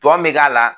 Tɔ me k'a la